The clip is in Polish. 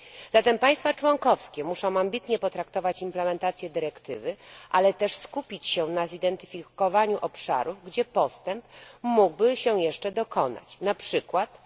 Zatem państwa członkowskie muszą ambitnie potraktować wdrażanie dyrektywy, ale też skupić się na zidentyfikowaniu obszarów, gdzie postęp mógłby się jeszcze dokonać, czyli np.